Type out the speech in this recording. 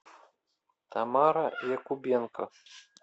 тамара якубенко